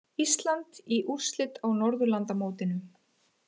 Ísland í úrslit á Norðurlandamótinu